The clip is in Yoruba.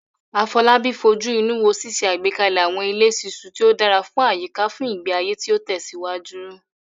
Afolabi fojú inú wo ṣíṣe àgbékalẹ̀ àwọn ilé ṣiṣu tí ó dára fún àyíká fún ìgbé ayé tí ó tẹ̀síwájú.